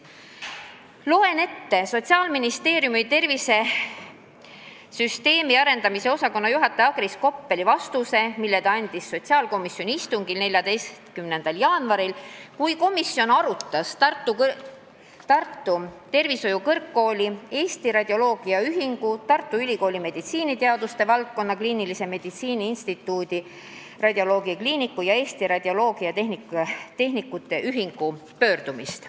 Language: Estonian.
Loen ette Sotsiaalministeeriumi tervisesüsteemi arendamise osakonna juhataja Agris Koppeli vastuse, mille ta andis sotsiaalkomisjoni istungil 14. jaanuaril, kui komisjon arutas Tartu Tervishoiu Kõrgkooli, Eesti Radioloogia Ühingu, Tartu Ülikooli meditsiiniteaduste valdkonna, kliinilise meditsiini instituudi, radioloogiakliiniku ja Eesti Radioloogiatehnikute Ühingu pöördumist.